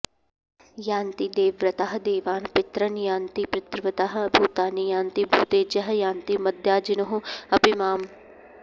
यान्ति देवव्रताः देवान् पितॄन् यान्ति पितृव्रताः भूतानि यान्ति भूतेज्याः यान्ति मद्याजिनोः अपि माम्